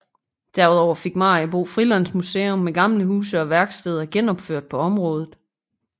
Derudover findes Maribo Frilandsmuseum med gamle huse og værksteder genopført på området